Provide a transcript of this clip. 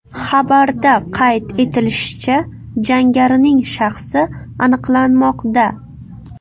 Xabarda qayd etilishicha, jangarining shaxsi aniqlanmoqda.